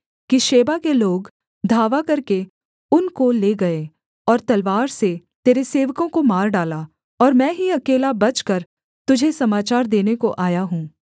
कि शेबा के लोग धावा करके उनको ले गए और तलवार से तेरे सेवकों को मार डाला और मैं ही अकेला बचकर तुझे समाचार देने को आया हूँ